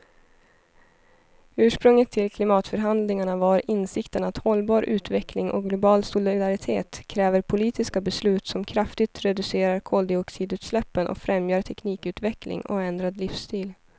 Ursprunget till klimatförhandlingarna var insikten att hållbar utveckling och global solidaritet kräver politiska beslut som kraftigt reducerar koldioxidutsläppen och främjar teknikutveckling och ändrad livsstil.